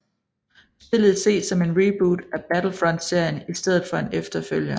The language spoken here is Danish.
Spillet ses som en reboot af Battlefrontserien i stedet for en efterfølger